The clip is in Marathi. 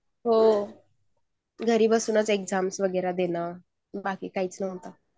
हो. घरी बसून एक्साम देणं. बाकी काहींचं नव्हतं